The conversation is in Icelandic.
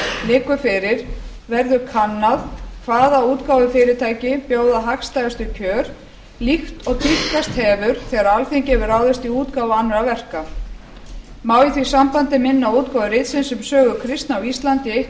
liggur fyrir eru kannað hvaða útgáfufyrirtæki bjóða hagstæðustu kjör líkt og tíðkast hefur þegar alþingi hefur ráðist í útgáfu annarra verka má í því sambandi minna á útgáfu ritsins um sögu kristni á íslandi í eitt